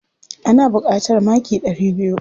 Ana buƙatar maki ɗari biyu.